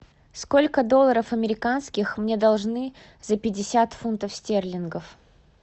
сколько долларов американских мне должны за пятьдесят фунтов стерлингов